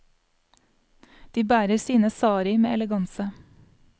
De bærer sine sari med eleganse.